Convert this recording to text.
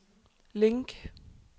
link